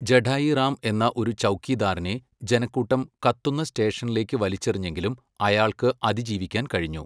ജഠായി റാം എന്ന ഒരു ചൗക്കിദാറിനെ ജനക്കൂട്ടം കത്തുന്ന സ്റ്റേഷനിലേക്ക് വലിച്ചെറിഞ്ഞെങ്കിലും അയാൾക്ക് അതിജീവിക്കാൻ കഴിഞ്ഞു.